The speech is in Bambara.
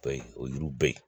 Ba in o yiriw bɛ yen